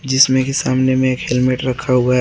जिसमें की सामने में एक हेलमेट रखा हुआ है।